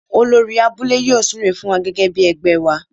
Olórí abúlé yóò súre fún wa gẹ́gẹ́ bí ẹgbẹ́ wa.